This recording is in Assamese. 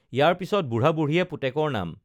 ইয়াৰ পিছত বুঢ়াবুঢ়ীয়ে পুতেকৰ নাম